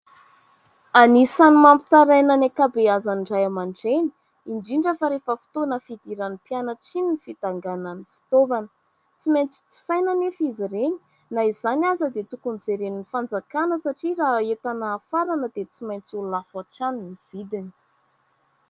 Anisan'ny mampitaraina ny ankabeazan'ny ray aman-dreny, indrindra fa rehefa fotoana fidiran'ny mpianatra iny ny fidanganan'ny fitaovana. Tsy maintsy jifaina anefa izy ireny. Na izany aza dia tokony jeren'ny fanjakana satria raha entana hafarana dia tsy maintsy ho lafo hatrany ny vidiny.